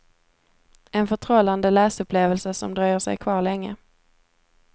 En förtrollande läsupplevelse som dröjer sig kvar länge.